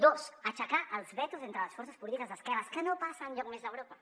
dos aixecar els vetos entre les forces polítiques d’esquerres que no passa enlloc més d’europa